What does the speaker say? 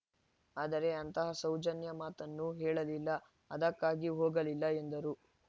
ಆದರೆ ಅಂತಹ ಸೌಜನ್ಯ ಮಾತನ್ನು ಹೇಳಲಿಲ್ಲ ಅದಕ್ಕಾಗಿ ಹೋಗಲಿಲ್ಲ ಎಂದರು